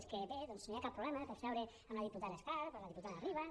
és que bé no hi ha cap problema per seure amb la diputada escarp o amb la diputada ribas